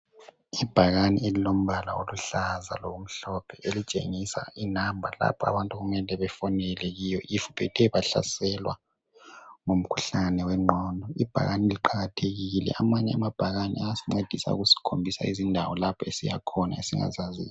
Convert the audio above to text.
Ibhakani elombala oluhlaza lomhlophe elitshengisa inamba lapha abantu okumele befonele kiyo if bethe bahlaselwa ngumkhuhlane wengqondo. Ibhakani liqakathekile. Amanye amabhakani ayascedisa ukusikhombisa izindawo esiyakhona esingazaziyo.